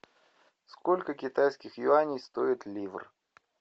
сколько китайских юаней стоит ливр